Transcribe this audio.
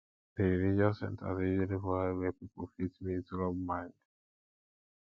di religious centers dey usually provide where pipo fit meet rub mind